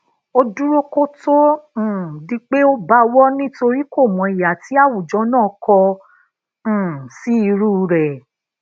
ó dúró kó tó um di pé ó bawo nitori komo iha ti awujo naa ko um si iru re